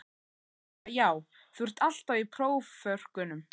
En hún sagði bara já þú ert alltaf í próförkunum?